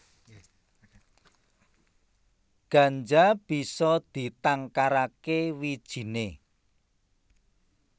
Ganja bisa ditangkaraké wijiné